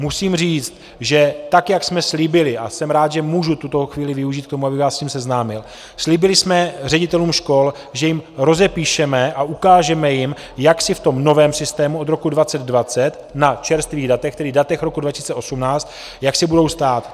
Musím říct, že tak jak jsme slíbili, a jsem rád, že můžu tuto chvíli využít k tomu, abych vás s tím seznámil, slíbili jsme ředitelům škol, že jim rozepíšeme a ukážeme jim, jak si v tom novém systému od roku 2020, na čerstvých datech, tedy datech roku 2018, jak si budou stát.